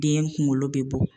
Den kunkolo bɛ bɔ.